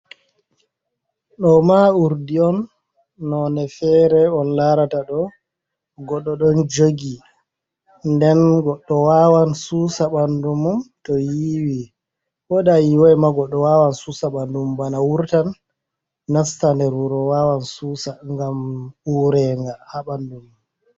Ɗooma urdi on, nonnde feere on laarata ɗo, goɗɗo ɗon jogi, nden goɗɗo waɗwan suusugo ɓanndu mum to yiiwi, kooda yiiway ma goɗɗo waawan suusa ɓanndu mum, bana wurtan nasta nder wuro waawan suusa ngam ureenga haa ɓanndu mum.